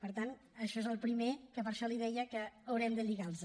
per tant això és el primer que per això li deia que haurem de lligar los